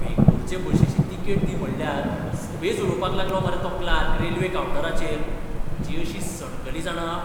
बेंगळूरचे बशीची तिकेट दी म्हटल्यार सुबेज उलोवपाक लागलो मरे तो क्लार्क रेल्वे कावंटाराचेर. म्हजी अशी सणकली जाणा.